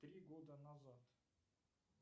три года назад